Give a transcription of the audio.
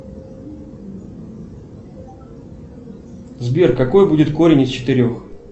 сбер какой будет корень из четырех